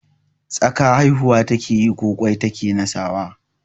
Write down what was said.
Tsaka haihuwa ta keyi ko ƙwai ta ke nasawa?